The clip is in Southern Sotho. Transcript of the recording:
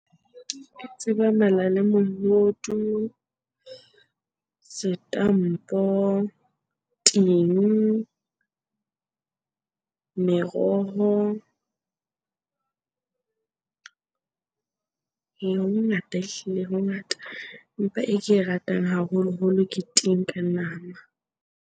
Ke tseba mala le mohodu, setampo, ting, meroho. Ee, ho hongata ehlile ho hongata empa e ke e ratang haholoholo ke ting ka nama.